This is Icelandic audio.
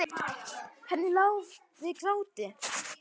Henni lá við gráti.